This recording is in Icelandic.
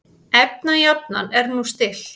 Efnajafnan er nú stillt.